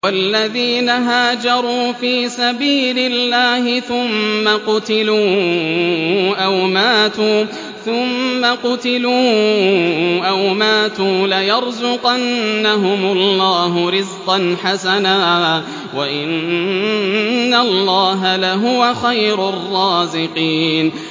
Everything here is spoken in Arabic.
وَالَّذِينَ هَاجَرُوا فِي سَبِيلِ اللَّهِ ثُمَّ قُتِلُوا أَوْ مَاتُوا لَيَرْزُقَنَّهُمُ اللَّهُ رِزْقًا حَسَنًا ۚ وَإِنَّ اللَّهَ لَهُوَ خَيْرُ الرَّازِقِينَ